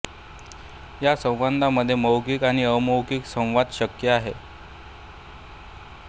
या संवादामध्ये मौखिक आणि अमौखिक संवाद शक्य असतो